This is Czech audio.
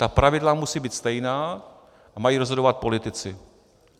Ta pravidla musí být stejná a mají rozhodovat politici.